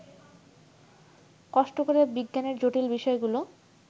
কষ্ট করে বিজ্ঞানের জটিল বিষয়গুলো